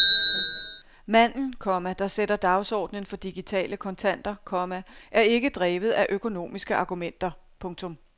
Manden, komma der sætter dagsordnen for digitale kontanter, komma er ikke drevet af økonomiske argumenter. punktum